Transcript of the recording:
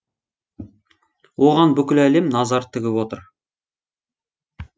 оған бүкіл әлем назар тігіп отыр